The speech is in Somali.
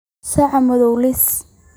Saca madhow liis.